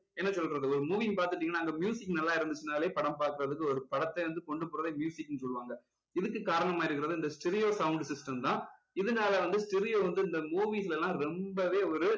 என்ன சொல்றது ஒரு movie பாத்துக்கிட்டீங்கன்னா அங்க நல்லா இருந்துச்சுனாலே படம் பார்க்குறதுக்கு ஒரு படத்தை வந்து கொண்டு போறதே ன்னு சொல்லுவாங்க இதுக்கு காரணமா இருக்கிறது இந்த stereo sound system தான் இதுனால வந்து stereo வந்து இந்த movies ல எல்லாம் ரொம்பவே ஒரு